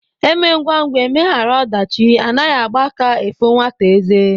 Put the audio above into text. Emee ngwa ngwa emeghara odachi Anaghi Agba aka afu nwata eze